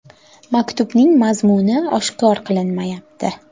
Maktubning mazmuni oshkor qilinmayapti.